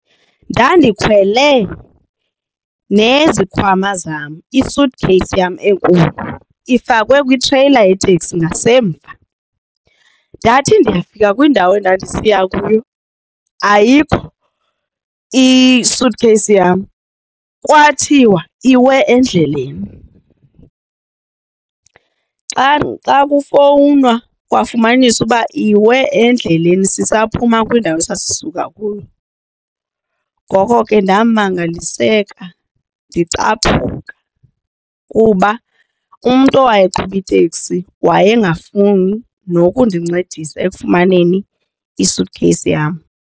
Ndandikhwele nezikhwama zam i-suit case yam enkulu ifakwe kwitreyila yeteksi ngasemva, ndathi ndiyafika kwiindawo endandisiya kuyo ayikho isuthikheyisi yam kwathiwa iwe endleleni. Xa xa kufowunwa kwafumanisa uba iwe endleleni sisaphuma kwindawo esasisuka kuyo. Ngoko ke ndamangaliseka ndicaphuka kuba umntu owaye eqhuba iteksi wayengafuni nokundincedisa ekufumaneni isuthikheyisi yam.